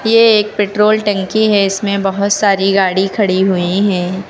ये एक पेट्रोल टंकी है इसमें बहुत सारी गाड़ी खड़ी हुई हैं।